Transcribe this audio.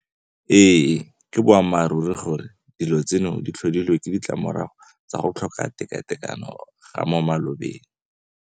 Ee ke boammaruri gore dilo tseno di tlhodilwe ke ditlamorago tsa go tlhoka tekatekano ga mo malobeng.